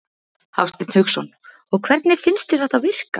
Hafsteinn Hauksson: Og hvernig finnst þér þetta virka?